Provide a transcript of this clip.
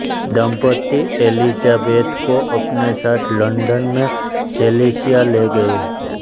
दंपत्ति एलिज़ाबेथ को अपने साथ लंदन में चेल्सिया ले गये